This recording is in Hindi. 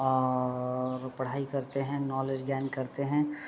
और अअअ पढ़ाई करते है नॉलेज गेन करते है ।